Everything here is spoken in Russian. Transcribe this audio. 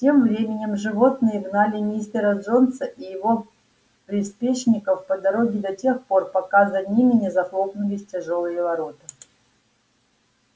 тем временем животные гнали мистера джонса и его приспешников по дороге до тех пор пока за ними не захлопнулись тяжёлые ворота